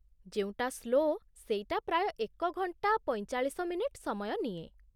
ଯେଉଁଟା ସ୍ଲୋ ସେଇଟା ପ୍ରାୟ ଏକ ଘଣ୍ଟା ପଇଁଚାଳିଶ ମିନିଟ୍ ସମୟ ନିଏ ।